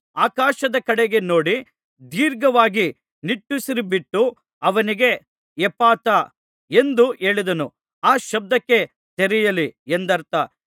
ಆಕಾಶದ ಕಡೆಗೆ ನೋಡಿ ದೀರ್ಘವಾಗಿ ನಿಟ್ಟುಸಿರುಬಿಟ್ಟು ಅವನಿಗೆ ಎಪ್ಫಥಾ ಎಂದು ಹೇಳಿದನು ಆ ಶಬ್ದಕ್ಕೆ ತೆರೆಯಲಿ ಎಂದರ್ಥ